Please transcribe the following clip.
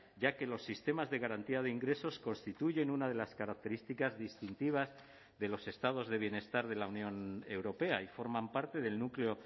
ya que los sistemas de garantía de ingresos constituyen una de las características distintivas de los estados de bienestar de la unión europea y forman parte del núcleo